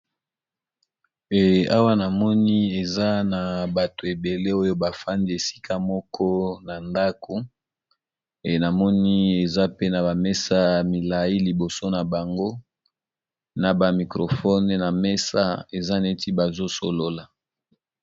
Ehh ñamoni eaa batu ebele nafandi n'a ndaku n'a libido n'a Bango ñamoni mesa Moko ya muñene NABA micro phone bazo solola